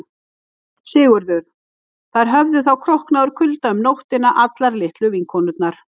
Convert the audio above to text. SIGURÐUR: Þær höfðu þá króknað úr kulda um nóttina allar litlu vinkonurnar.